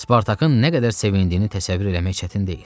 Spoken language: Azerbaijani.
Spartakın nə qədər sevindiyini təsəvvür eləmək çətin deyil.